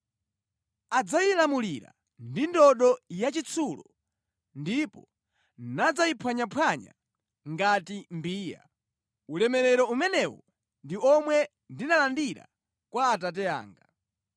Adzayilamulira ndi ndodo yachitsulo ndipo nadzayiphwanyaphwanya ngati mbiya. Ulamuliro umenewu ndi omwe ndinalandira kwa Atate anga.